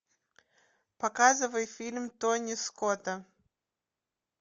показывай фильм тони скота